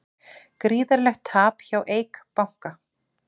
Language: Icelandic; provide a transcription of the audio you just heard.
Gríðarlegt tap hjá Eik banka